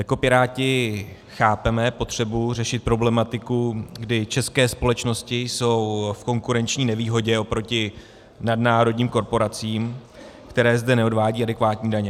Jako Piráti chápeme potřebu řešit problematiku, kdy české společnosti jsou v konkurenční nevýhodě oproti nadnárodním korporacím, které zde neodvádějí adekvátní daně.